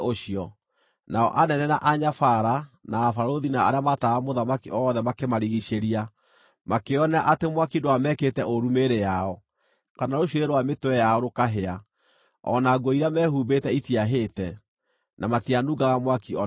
nao anene, na anyabara, na abarũthi, na arĩa maataaraga mũthamaki othe makĩmarigiicĩria, makĩĩonera atĩ mwaki ndwamekĩte ũũru mĩĩrĩ yao, kana rũcuĩrĩ rwa mĩtwe yao rũkahĩa, o na nguo iria mehumbĩte itiahĩte, na matianungaga mwaki o na atĩa.